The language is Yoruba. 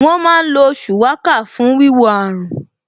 Wọ́n má ń lo Shuwaka fún wíwo àrùn